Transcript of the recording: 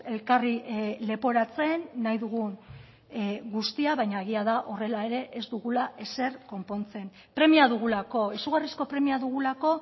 elkarri leporatzen nahi dugun guztia baina egia da horrela ere ez dugula ezer konpontzen premia dugulako izugarrizko premia dugulako